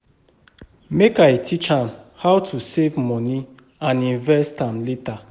Make I teach am how to save moni and invest am later.